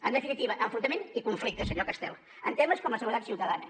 en definitiva enfrontament i conflicte senyor castel en temes com la seguretat ciutadana